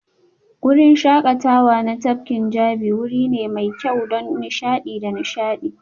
Wurin shakatawa na tafkin Jabi wuri ne mai kyau don nishaɗi da nishaɗi